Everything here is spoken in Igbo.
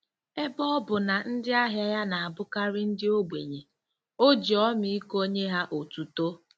Ebe ọ bụ na ndị ahịa ya na-abụkarị ndị ogbenye, o ji ọmịiko nye ha otuto.